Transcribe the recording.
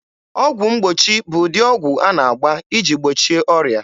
Ọgwụ mgbochi bụ ụdị ọgwụ a na-agba iji gbochie ọrịa.